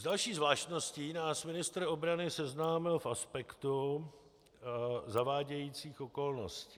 S další zvláštností nás ministr obrany seznámil v aspektu zavádějících okolností.